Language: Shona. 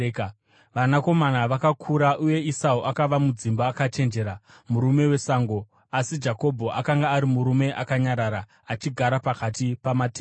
Vakomana vakakura, uye Esau akava mudzimba akachenjera, murume wesango, asi Jakobho akanga ari murume akanyarara, achigara pakati pamatende.